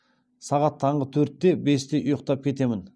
сағат таңғы төртте бесте ұйықтап кетемін